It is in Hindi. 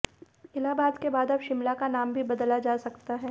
इलाहाबाद के बाद अब शिमला का नाम भी बदला जा सकता है